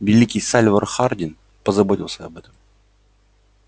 великий сальвор хардин позаботился об этом